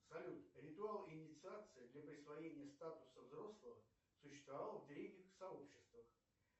салют ритуал инициации для присвоения статуса взрослого существовал в древних сообществах